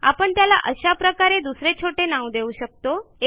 आपण त्याला अशा प्रकारे दुसरे छोटे नाव देऊ शकतो